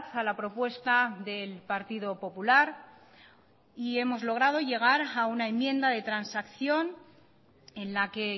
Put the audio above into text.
a la propuesta del partido popular y hemos logrado llegar a una enmienda de transacción en la que